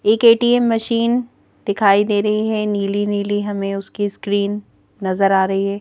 एक ATM machine दिखाई दे रही हैं नीली नीली हमें उसकी स्क्रीन नजर आ रही है।